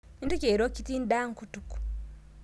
Mintoki airo kitii ndaa nkutuk